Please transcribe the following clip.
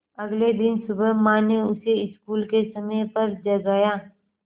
अगले दिन सुबह माँ ने उसे स्कूल के समय पर जगाया